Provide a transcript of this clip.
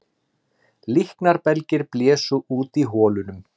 Líknarbelgir blésu út í holunum